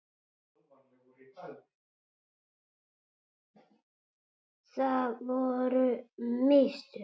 Það voru mistök.